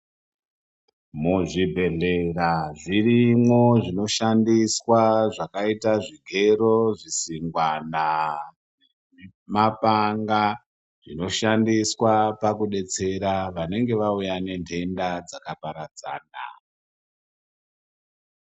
Muzvibhedhleya zvirimwo zvinoshandiswa zvakaita zvigero, zvisingwana nemapanga zvinoshandiswa kudetsera vanenge vauya nentenda dzakaparadzana.